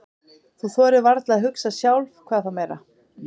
Þú þorir varla að hugsa sjálf, hvað þá meira.